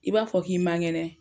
I b'a fɔ k'i mangɛnɛ